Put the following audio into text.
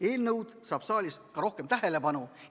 Eelnõu saab saalis ka rohkem tähelepanu.